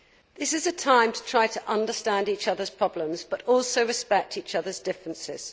This is a time to try to understand each other's problems but also respect each other's differences.